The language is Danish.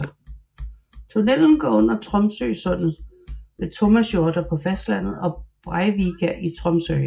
Tunnelen går under Tromsøysundet mellem Tomasjorda på fastlandet og Breivika på Tromsøya